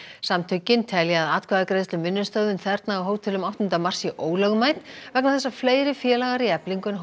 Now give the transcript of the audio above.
samtökin telja að atkvæðagreiðsla um vinnustöðvun þerna á hótelum áttunda mars sé ólögmæt vegna þess að fleiri félagar í Eflingu en